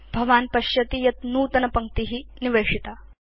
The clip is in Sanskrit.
भवान् पश्यति यत् नूतनपङ्क्ति निवेशिता